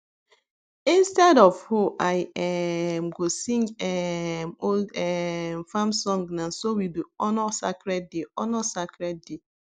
instead of hoe i um go sing um old um farm songna so we dey honour sacred dey honour sacred day